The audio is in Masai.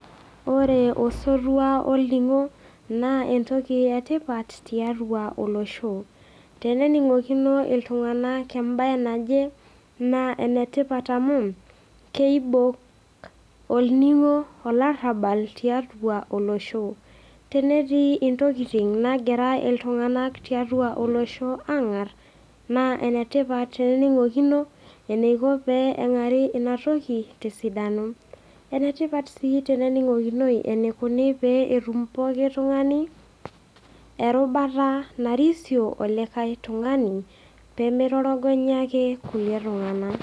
Ore osotua olning'o naa entoki e tipat tiatua olosho. Tenening'okino iltung'ana embae naje, naa enetipat amu, keibok olning'o olarabal tiatua olosho. Tenetii intokitin nagirai iltung'ana tiatua olosho aang'ar naa enetipat pee ening'okino eneiko peing'uari inatoki te esidano. Enetipat sii ening'okinoi eneikuni pee etum pooki tung'ani erubata narisio wenolikai tung'ani pee meitorogonyaki ilkulie tung'ana.